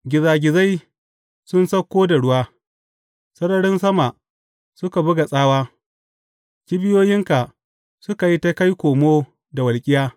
Gizagizai sun sauko da ruwa, sararin sama suka buga tsawa; kibiyoyinka suka yi ta kai komo da walƙiya.